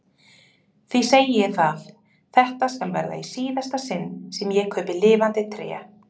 því segi ég það, þetta skal verða í síðasta sinn sem ég kaupi lifandi tré!